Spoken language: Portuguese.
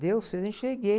Deus fez, eu enxerguei.